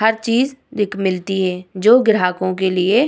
हर चीज दिक मिलती है जो ग्राहकों के लिए --